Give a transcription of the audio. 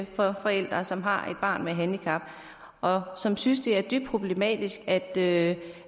fra forældre som har et barn med handicap og som synes det er dybt problematisk at